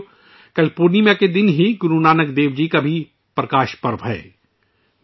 ساتھیو، کل پورے چاند کے دن، گرو نانک دیو جی کا پرکاش پرو بھی ہے